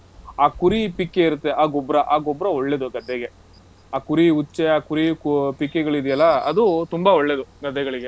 ಆ ಕುರಿ ಪಿಕ್ಕೆ ಇರತ್ತೆ, ಆ ಗೊಬ್ರ. ಆ ಗೊಬ್ರ ಒಳ್ಳೇದು ಗದ್ದೆಗೆ. ಆ ಕುರಿ ಉಚ್ಚೆ, ಆ ಕುರಿ ಕು ~ ಪಿಕ್ಕೆಗಳಿದೆಯಲ್ಲ, ಅದು ತುಂಬಾ ಒಳ್ಳೇದು ಗದ್ದೆಗಳಿಗೆ.